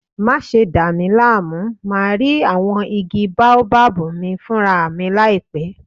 Má ṣe dà mí láàmú, màá rí àwọn igi baobab mi fúnra mi láìpẹ́!